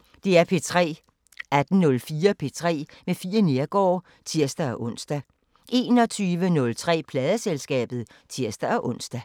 18:04: P3 med Fie Neergaard (tir-ons) 21:03: Pladeselskabet (tir-ons)